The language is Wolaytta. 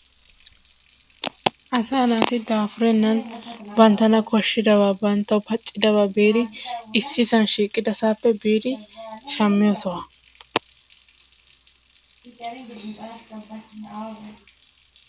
Asaa naati daafurenan banttana kooshidaaba banttawu paaccidaaba biidi issisaan shiiqidasaappe biidi shammiyoo sohuwaa.